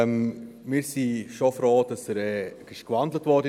Wir sind schon froh, dass er in ein Postulat gewandelt wurde.